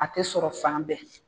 A tɛ sɔrɔ fan bɛɛ